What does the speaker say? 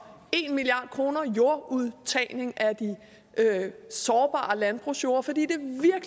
en milliard kroner jordudtagning af de sårbare landbrugsjorder fordi